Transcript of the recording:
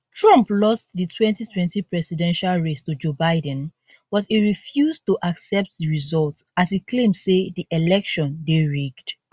trump lost di 2020 presidential race to joe biden but e refuse to accept di result as e claim say di election dey rigged